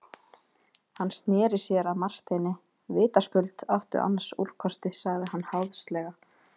Hann sneri sér að Marteini:-Vitaskuld áttu annars úrkosti, sagði hann háðslega.